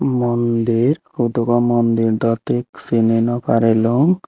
mondir hudugor mondir dw thik sini nw parilung.